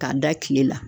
K'a da tile la